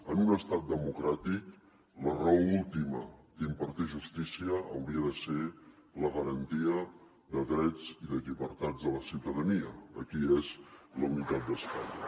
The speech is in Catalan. en un estat democràtic la raó última d’impartir justícia hauria de ser la garantia de drets i de llibertats de la ciutadania aquí és la unitat d’espanya